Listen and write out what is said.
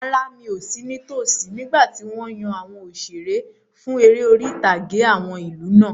Rárá, mi ò sí ní tosí nígbàtí wọ́n yan àwọn òṣeré fún eré orí-ìtàgé àwọn ìlú náà